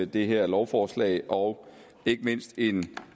det her lovforslag og ikke mindst en